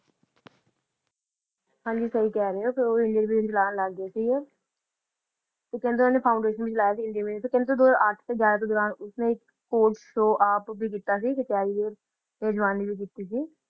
ਹਾਂਜੀ ਸਹੀ ਕਹਿ ਰਹੇ ਹੋ ਉਹ Indian vision ਚਲਾਉਣ ਲੱਗ ਗਏ ਸੀਗੇ ਤੇ ਕਹਿੰਦੇ ਓਹਨਾ ਨੇ foundation ਵੀ ਚਲਾਇਆ ਸੀ ਇੰਡੀਅਨ vision ਦੋ ਹਜ਼ਾਰ ਅੱਠ ਤੇ ਗਿਆਰਾ ਦੇ ਦੌਰਾਨ ਉਸਨੇ ਇੱਕ court show ਆਪ ਵੀ ਕੀਤਾ ਸੀ ਕੈਰੀਅਰ ਤੇ ਜਵਾਨੀ ਦੇ ਵਿੱਚ ਵੀ